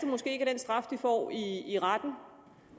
måske ikke den straf de får i retten